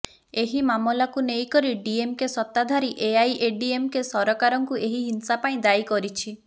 ଏହି ମାମଲାକୁ ନେଇକରି ଡିଏମକେ ସତ୍ତାଧାରୀ ଏଆଇଏଡିଏମକେ ସରକାରକୁ ଏହି ହିଂସା ପାଇଁ ଦାୟୀ କରିଛି